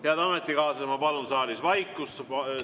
Head ametikaaslased, ma palun saalis vaikust!